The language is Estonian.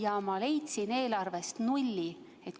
Aga ma leidsin eelarvest nulli.